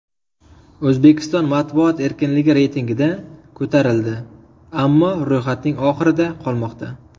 O‘zbekiston matbuot erkinligi reytingida ko‘tarildi, ammo ro‘yxatning oxirida qolmoqda.